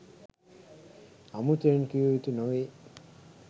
අමුතුවෙන් කිව යුතු නොවේ.